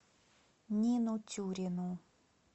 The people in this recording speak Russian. нину тюрину